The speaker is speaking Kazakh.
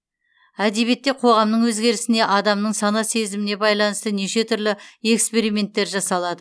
әдебиетте қоғамның өзгерісіне адамның сана сезіміне байланысты неше түрлі эксперименттер жасалады